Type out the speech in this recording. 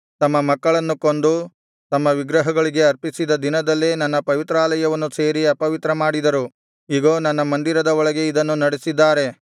ತಮ್ಮ ಮಕ್ಕಳನ್ನು ಕೊಂದು ತಮ್ಮ ವಿಗ್ರಹಗಳಿಗೆ ಅರ್ಪಿಸಿದ ದಿನದಲ್ಲೇ ನನ್ನ ಪವಿತ್ರಾಲಯವನ್ನು ಸೇರಿ ಅಪವಿತ್ರ ಮಾಡಿದರು ಇಗೋ ನನ್ನ ಮಂದಿರದ ಒಳಗೆ ಇದನ್ನು ನಡೆಸಿದ್ದಾರೆ